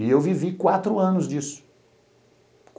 E eu vivi quatro anos disso.